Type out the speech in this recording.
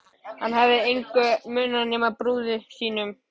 Hann hafði eftir engu munað nema brúði sinni.